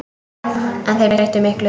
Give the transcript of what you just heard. En þeir breyttu miklu.